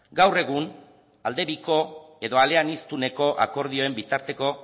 gaur egun aldebiko edo eleaniztuneko akordioen bitarteko